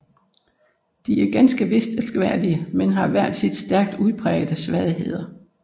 De er ganske vist elskværdige men har hver deres stærkt udprægede svagheder